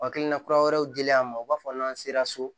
Hakilina kura wɛrɛw dilen an ma u b'a fɔ n'an sera so